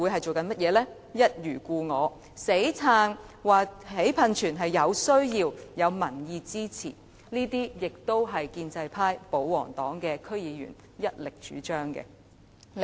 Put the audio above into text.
就是一如故我，堅持興建噴泉是有需要和有民意支持的，而這是建制派、保皇黨的區議員所一力主張的。